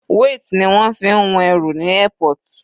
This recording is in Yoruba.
Weight ni wọ́n fi ń wọn ẹrù ní airport.